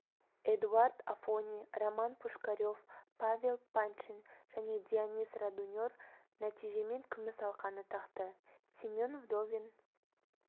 эдуард афони роман пушкарев павел паньшин және дионис родунер нәтижемен күміс алқаны тақты семен вдовин